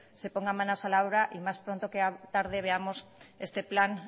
se ponga manos a la obra y más pronto que tarde veamos ese plan